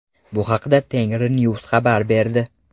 Bu haqda Tengrinews xabar berdi.